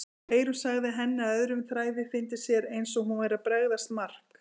Eyrún sagði henni að öðrum þræði fyndist sér eins og hún væri að bregðast Mark.